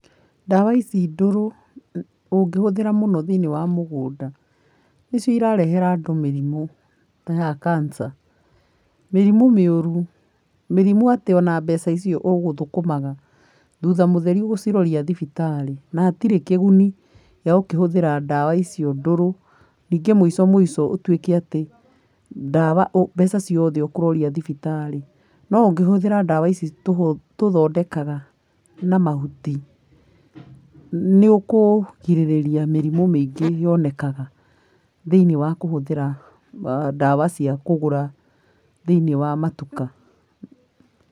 Ndawa ici ndũrũ ũngĩhũthĩra mũno thĩiniĩ wa mũgũnda nĩcio irarehera andũ mĩrimũ ta ya cancer mĩrimũ mĩũru, mĩrimũ atĩ ona mbeca icio ũgũthũkũmaga thutha mũthera ũgũciroria thibitarĩ na hatirĩ kĩguni gĩa gũkĩhũthĩra ndawa icio ndũrũ ningĩ mũico mũico ũtuike atĩ ndawa mbeca ciothe ũkũroria thibitarĩ no ũngĩhũthĩra ndawa ici tũthoondekaga na mahuti nĩũkũgirĩrĩria mĩrimũ mĩingĩ yonekaga thĩiniĩ wa kũhũthĩra wa ndawa cia kũgũra thĩiniĩ wa matuka.